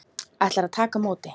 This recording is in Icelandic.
Ætlar að taka á móti.